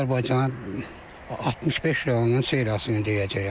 Azərbaycana 65 rayonunun seriyasını deyəcəyəm.